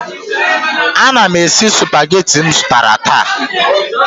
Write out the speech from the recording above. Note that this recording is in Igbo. Ana m esi Supagetii m zụtara taa